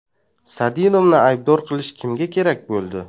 Sadinovni aybdor qilish kimga kerak bo‘ldi?